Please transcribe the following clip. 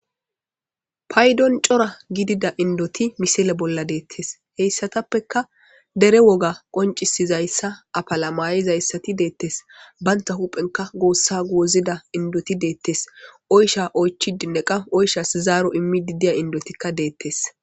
paydon cora gidida indoti misile bolla deettes heyssatappeka dere woga qoncisizayssa apalamayizayssati deettes baynta huphenka goossa goozida indoti deettes oysha oychi dinneqa oyshas zaaro immidi diya indotikka deettes